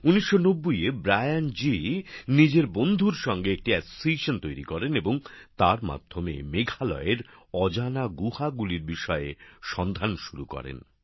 ১৯৯০ এ ব্রায়ান জি নিজের বন্ধুর সঙ্গে একটি সংগঠন তৈরি করেন এবং তার মাধ্যমে মেঘালয়ের অজানা গুহাগুলির বিষয়ে সন্ধান শুরু করেন